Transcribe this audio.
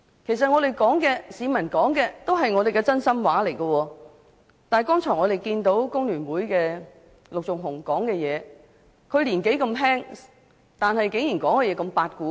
其實，我們說的、市民說的都是真心話，但剛才工聯會陸頌雄議員的發言，他年紀輕輕，發言內容卻"八股"十足。